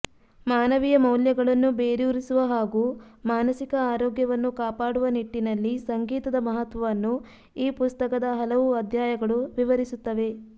ಮಾನವೀಯ ಮೌಲ್ಯಗಳನ್ನು ಬೇರೂರಿಸುವ ಹಾಗೂ ಮಾನಸಿಕ ಆರೋಗ್ಯವನ್ನು ಕಾಪಾಡುವ ನಿಟ್ಟಿನಲ್ಲಿ ಸಂಗೀತದ ಮಹತ್ವವನ್ನು ಈ ಪುಸ್ತಕದ ಹಲವು ಅಧ್ಯಾಯಗಳು ವಿವರಿಸುತ್ತವೆ